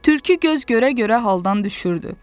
Tülkü göz görə-görə haldan düşürdü.